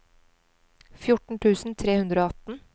fjorten tusen tre hundre og atten